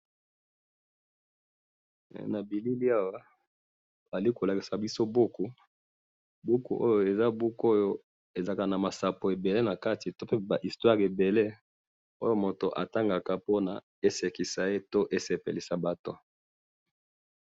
na bilili awa bazali kolakisa biso buku, buku oyo, eza buku oyo ezalaka na masapo ebele nakati, pe nama histoire ebele, oyo mutu atangaka pe esekisa ye, pe esepelisa batu